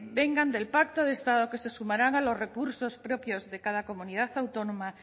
vengan del pacto de estado que se sumarán a los recursos propios de cada comunidad autónoma